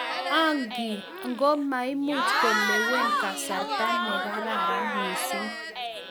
Angii? ngo maimuch kolewen kasarta ne kararn mising